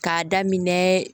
K'a daminɛ